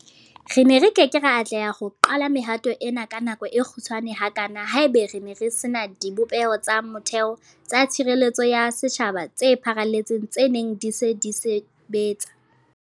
Re ne re ke ke ra atleha ho qala mehato ena ka nako e kgutshwane hakana haeba re ne re se na dibopeho tsa motheo tsa tshireletseho ya setjhaba tse pharaletseng tse neng di se di sebetsa.